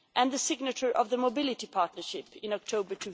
and the signature of the mobility partnership in October